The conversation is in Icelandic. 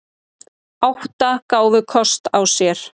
Átta gáfu kost á sér.